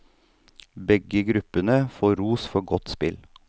Begge gruppene får ros for godt spill.